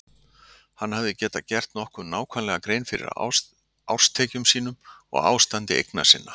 Hann hafði getað gert nokkuð nákvæmlega grein fyrir árstekjum sínum og ástandi eigna sinna.